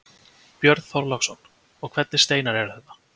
Björn Þorláksson: Og hvernig steinar eru þetta?